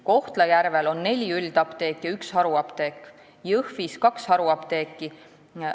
Kohtla-Järvel on neli üldapteeki ja üks haruapteek, Jõhvis kaks haruapteeki.